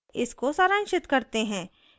इसको सारांशित करते हैं